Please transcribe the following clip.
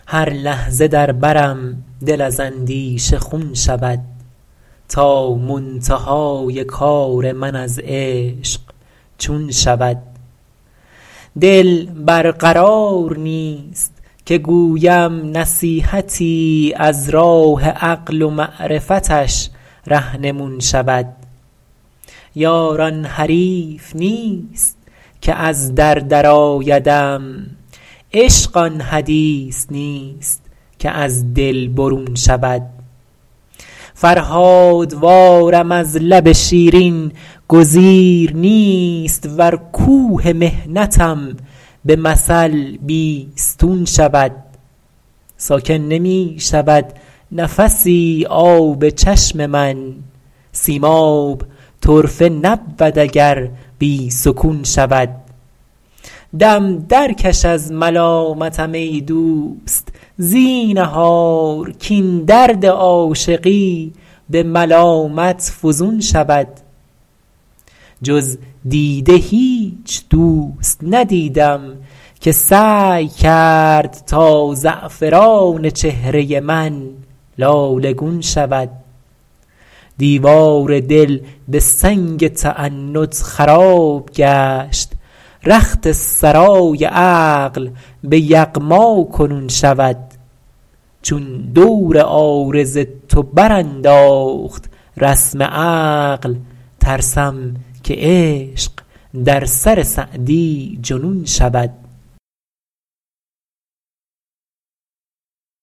هر لحظه در برم دل از اندیشه خون شود تا منتهای کار من از عشق چون شود دل بر قرار نیست که گویم نصیحتی از راه عقل و معرفتش رهنمون شود یار آن حریف نیست که از در درآیدم عشق آن حدیث نیست که از دل برون شود فرهادوارم از لب شیرین گزیر نیست ور کوه محنتم به مثل بیستون شود ساکن نمی شود نفسی آب چشم من سیماب طرفه نبود اگر بی سکون شود دم درکش از ملامتم ای دوست زینهار کاین درد عاشقی به ملامت فزون شود جز دیده هیچ دوست ندیدم که سعی کرد تا زعفران چهره من لاله گون شود دیوار دل به سنگ تعنت خراب گشت رخت سرای عقل به یغما کنون شود چون دور عارض تو برانداخت رسم عقل ترسم که عشق در سر سعدی جنون شود